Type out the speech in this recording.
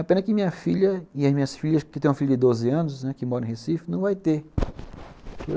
A pena que minha filha e as minhas filhas, que tem uma filha de doze anos, né, que mora em Recife, não vai ter.